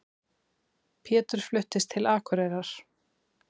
Pétur fluttist til Akureyrar.